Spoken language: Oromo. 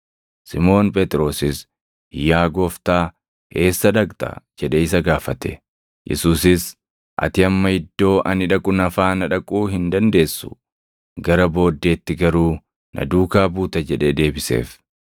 Simoon Phexrosis, “Yaa Gooftaa, eessa dhaqxa?” jedhee isa gaafate. Yesuusis, “Ati amma iddoo ani dhaqu na faana dhaquu hin dandeessu; gara booddeetti garuu na duukaa buuta” jedhee deebiseef.